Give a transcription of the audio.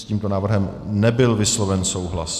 S tímto návrhem nebyl vysloven souhlas.